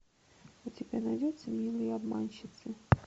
у тебя найдется милые обманщицы